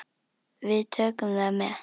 Við tökum það með.